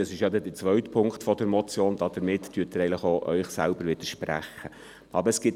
Dies ist denn der zweite Punkt der Motion, und damit widersprechen Sie sich eigentlich selbst.